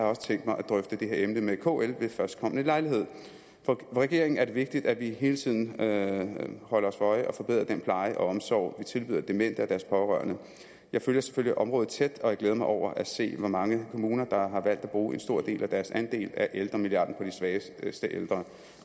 også tænkt mig at drøfte det her emne med kl ved førstkommende lejlighed for regeringen er det vigtigt at vi hele tiden holder os for øje at forbedre den pleje og omsorg vi tilbyder demente og deres pårørende jeg følger selvfølgelig området tæt og jeg glæder mig over at se hvor mange kommuner der har valgt at bruge en stor del af deres andel af ældremilliarden på de svageste ældre